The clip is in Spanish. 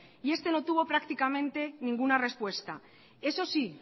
y este no tuvo prácticamente ninguna respuesta eso sí